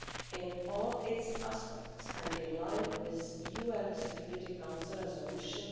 in all its aspects and in line with UN Security Council Resolution